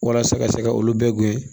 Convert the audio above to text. Walasa ka se ka olu bɛɛ guwe